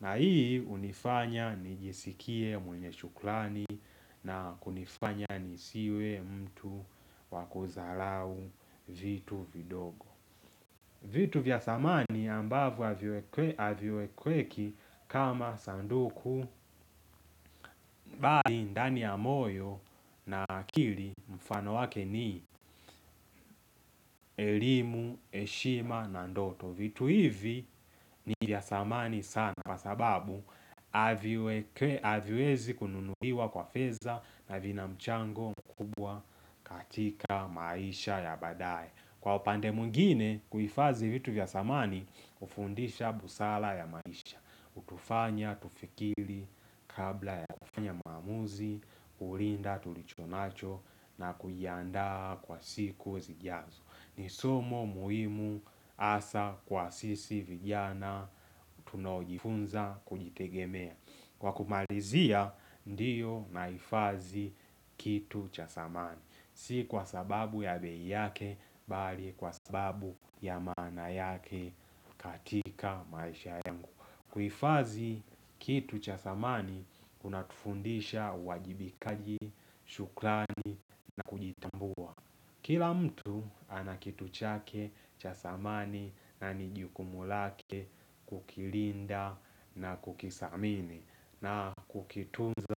na hii hunifanya nijisikie mwenye shukurani na kunifanya nisiwe mtu wakudharau vitu vidogo vitu vya samani ambavyo haviwekweki kama sanduku bali ndani ya moyo na akili mfano wake ni elimu, heshima na ndoto vitu hivi ni vya samani sana Kwa sababu havi haviwezi kununuliwa kwa fedha na vina mchango mkubwa katika maisha ya badae Kwa upande mwingine kuhifadhi vitu vya samani hufundisha busara ya maisha hutufanya, tufikiri kabla ya kufanya maamuzi, kulinda, tulichonacho na kuianda kwa siku zijazo ni somo muhimu hasa kwa sisi vijana tunojifunza kujitegemea Kwa kumalizia ndio nahifadhi kitu cha samani Si kwa sababu ya bei yake, bali kwa sababu ya maana yake katika maisha yangu kuhifadhi kitu cha samani, unatufundisha uwajibikaji, shukurani na kujitambua Kila mtu ana kitu chake cha samani na ni jukumu lake kukilinda na kukisamini na kukitunza.